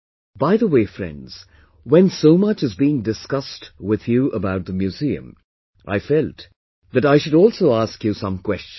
By the way, friends, when so much is being discussed with you about the museum, I felt that I should also ask you some questions